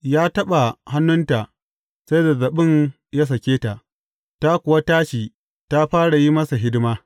Ya taɓa hannunta sai zazzaɓin ya sake ta, ta kuwa tashi ta fara yin masa hidima.